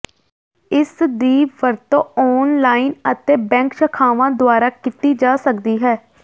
ਇਸਦੀ ਵਰਤੋਂ ਆਨਲਾਈਨ ਅਤੇ ਬੈਂਕ ਸ਼ਾਖਾਵਾਂ ਦੁਆਰਾ ਕੀਤੀ ਜਾ ਸਕਦੀ ਹੈ